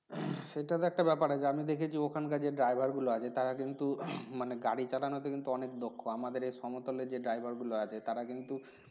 উম সেটা তো একটা বেপার আছে আমি দেখেছি ওখানকার যে Driver গুলো আছে তারা কিন্তু মানে গাড়ি চালানোতে কিন্তু অনেক দক্ষ আমাদের এই সমতলে যে Driver গুলো আছে তারা কিন্তু